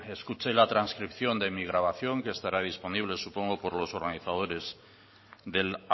escuche la transcripción de mi grabación que estará disponible supongo por los organizadores del